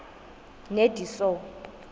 nediso